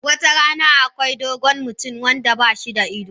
Wata rana, akwai wani dogon mutum wanda ba shi da ido.